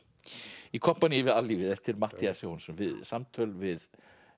í kompaníi við allífið eftir Matthías Johannessen samtöl við